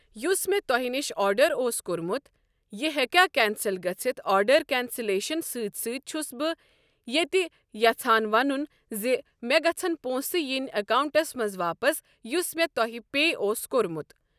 یُس مےٚ تۄہہِ نِش آڈر اوس کوٚرمُت یہِ ہٮ۪کیا کینسل گٔژھِتھ آڈر کینسلیشن سۭتۍ سۭتۍ چھس بہٕ یتہِ یژھان ونُن زِ مےٚ گژھن پۄنٛسہٕ یِنۍ اکاونٹس منٛز واپس یُس مےٚ تۄہہِ پے اوسُو کوٚرمُت۔